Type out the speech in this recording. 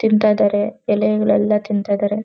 ತಿಂತಾ ಇದ್ದಾರೆ ಎಲೆಗಳ್ಳನ್ನ ತಿಂತಾ ಇದ್ದಾರೆ.